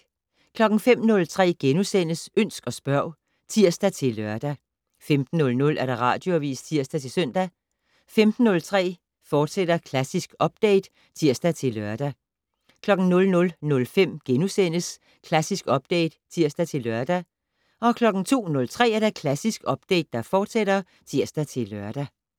05:03: Ønsk og spørg *(tir-lør) 15:00: Radioavis (tir-søn) 15:03: Klassisk Update, fortsat (tir-lør) 00:05: Klassisk Update *(tir-lør) 02:03: Klassisk Update, fortsat (tir-lør)